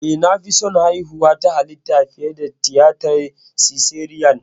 Eh, na fi son haihuwa ta halitta fiye da tiyatar siseriyan.